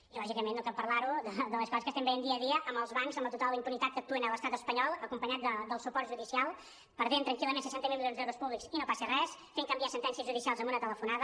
i lògicament no cal parlar de les coses que estem veient dia a dia amb els bancs amb la total impunitat amb què actuen a l’estat espanyol acompanyats del suport judicial perdent tranquil·lament seixanta miler milions d’euros públics i no passa res fent canviar sentències judicials amb una telefonada